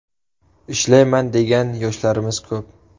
Ishlayman degan yoshlarimiz ko‘p.